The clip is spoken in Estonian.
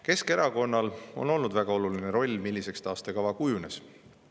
Keskerakonnal on olnud väga oluline roll selles, milliseks taastekava kujunes.